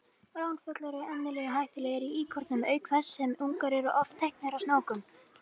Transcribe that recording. Ránfuglar eru einnig hættulegir íkornum auk þess sem ungar eru oft teknir af snákum.